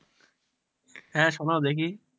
হ্যাঁ শোনাও দেখি।